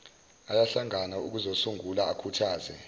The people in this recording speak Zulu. ayahlangana ukuzosungula akhuthaze